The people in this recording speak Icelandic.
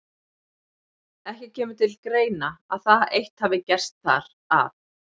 Ekki kemur til greina, að það eitt hafi gerst þar, að